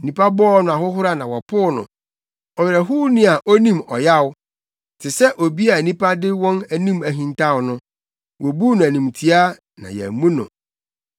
Nnipa bɔɔ no ahohora na wɔpoo no, Ɔwerɛhowni a onim ɔyaw. Te sɛ obi a nnipa de wɔn anim hintaw no wobuu no animtiaa na yɛammu no.